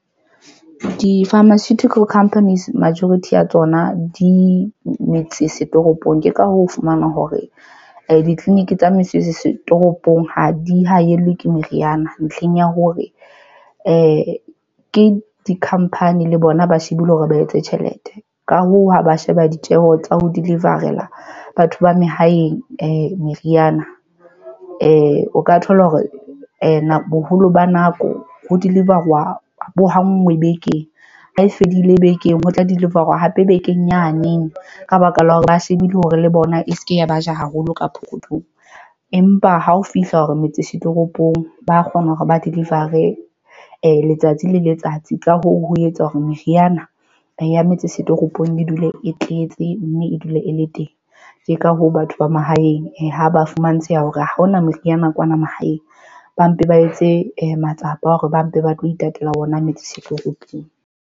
Di-pharmaceutical companies majority ya tsona di metse setoropong, ke ka hoo, o fumana hore ditleliniki tsa mesebetsi setoropong ha di haellwa ke meriana ntlheng ya hore e ke dikhampani le bona, ba shebile hore ba etse tjhelete. Ka hoo, ha ba sheba ditjeho tsa ho delivery la batho ba mahaeng meriana o ka thola hore boholo ba nako ho deliver-wa bo hanngwe bekeng. Hae fedile bekeng ho tla deliver-wa hape bekeng yane ne ka baka la hore ba shebile hore le bona e se ke ya ba ja haholo ka pokothong empa ha o fihla hore metsi setoropong ba kgona hore ba deliver re letsatsi le letsatsi. Ka hoo, ho etsa hore meriana e ya metsi setoropong e dule e tletse mme e dule e le teng. Ke ka hoo, batho ba mahaeng ha ba fumantsheha hore ha hona meriana kwana mahaeng, ba mpe ba etse matsapa a hore ba mpe ba tlo itatela ona metsi setoropong.